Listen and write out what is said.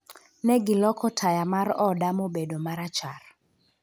Ne giloko taya mar oda mobedo ma rachar.